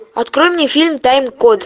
открой мне фильм таймкод